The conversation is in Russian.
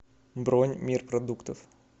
бронь мир продуктов